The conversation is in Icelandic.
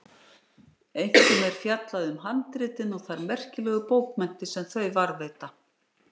Einkum er fjallað um handritin og þær merkilegu bókmenntir sem þau varðveita.